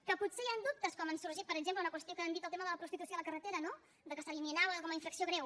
que potser hi han dubtes com han sorgit per exemple una qüestió que han dit el tema de la prostitució a la carretera no que s’eliminava com a infracció greu